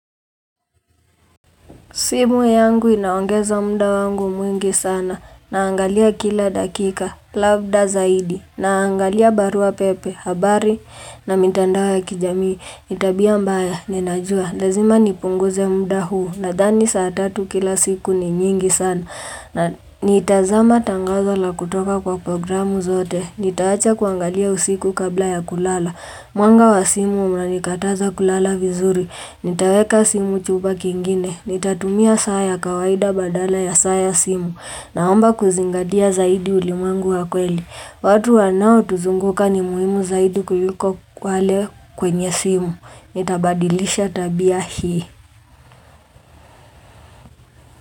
Simu yangu inaongeza muda wangu mwingi sana. Naangalia kila dakika, labda zaidi. Naangalia barua pepe, habari na mitandao ya kijamii. Ni tabia mbaya, ninajua. Lazima nipunguze muda huu. Nadhani saa tatu kila siku ni nyingi sana. Na nitazama tangazo la kutoka kwa programu zote. Nitaacha kuangalia usiku kabla ya kulala. Mwanga wa simu unanikataza kulala vizuri. Nitaweka simu chumba kingine. Nitatumia saa ya kawaida badala ya saa ya simu naomba kuzingatia zaidi ulimwengu wa kweli. Watu wanaotuzunguka ni muhimu zaidi kuliko wale kwenye simu. Nitabadilisha tabia hii.